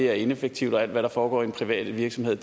er ineffektivt og alt hvad der foregår i en privat virksomhed